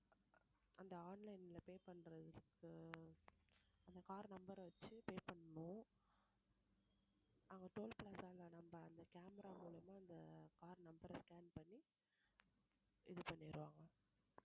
அந்த online ல pay பண்றதுக்கு இப்போ அந்த car number அ வச்சு pay பண்ணணும் அங்க toll plaza நம்ம அந்த camera மூலமா அந்த car number அ scan பண்ணி இது பண்ணிடுவாங்க